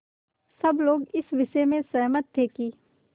सब लोग इस विषय में सहमत थे कि